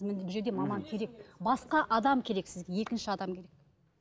бұл жерде маман керек басқа адам керек сізге екінші адам керек